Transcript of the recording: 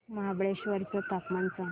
महाबळेश्वर चं तापमान सांग